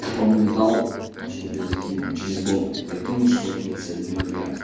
он мне дал чтобы я закинул через бота закинул шестьсот тридцать один рубля